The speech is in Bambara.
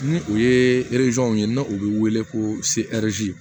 Ni o ye ye n'o bɛ wele ko seriti